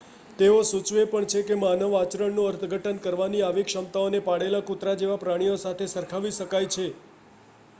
તેઓ સૂચવે પણ છે કે માનવ આચરણનું અર્થઘટન કરવાની આવી ક્ષમતાઓને પાળેલા કૂતરા જેવા પ્રાણીઓ સાથે સરખાવી શકાય છે